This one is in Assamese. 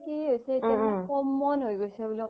কি হৈছি এতিয়া common হয় গৈছে বুলি